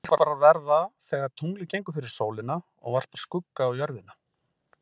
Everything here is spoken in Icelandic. Sólmyrkvar verða þegar tunglið gengur fyrir sólina og varpar skugga á Jörðina.